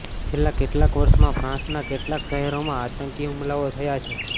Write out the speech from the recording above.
છેલ્લાં કેટલાંક વર્ષમાં ફ્રાન્સના કેટલાંક શહેરોમાં આંતકી હુમલાઓ થયા છે